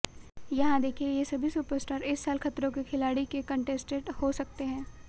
यहां देखिए ये सभी सुपरस्टार इस साल खतरों के खिलाड़ी के कंटेस्टेंट हो सकते हैं